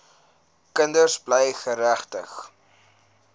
kinders bly geregtig